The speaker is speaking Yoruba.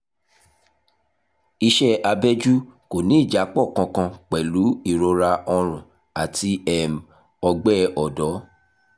iṣẹ abẹ́jú kò ní ìjápọ̀ kankan pẹ̀lú ìrora ọrùn àti um ọgbẹ́ ọ̀dọ́